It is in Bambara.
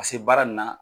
Ka se baara nin na